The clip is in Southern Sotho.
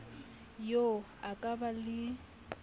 eo a ka ba le